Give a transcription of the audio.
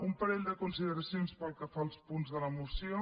un parell de consideracions pel que fa als punts de la moció